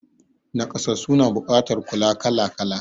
Nakasassu na buƙatar kula kala kala